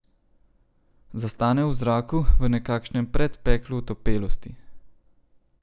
Zastane v zraku, v nekakšnem predpeklu otopelosti.